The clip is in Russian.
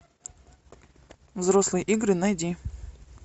взрослые игры найди